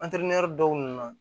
Antere dɔw nana